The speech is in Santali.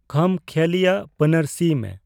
ᱠᱷᱟᱢᱠᱷᱮᱭᱟᱞᱤ ᱟᱜ ᱯᱟᱹᱱᱟᱹᱨᱥᱤᱭ ᱢᱮ